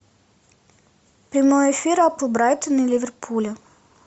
прямой эфир апл брайтон и ливерпуля